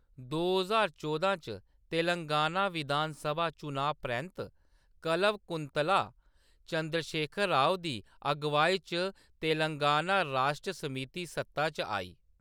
दो ज्हार चौह्दा च तेलंगाना विधानसभा चुनांऽ परैंत्त, कलवकुंतला चंद्रशेखर राव दी अगुआई च तेलंगाना राश्ट्र समिति सत्ता च आई।